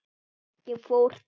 Ég fór til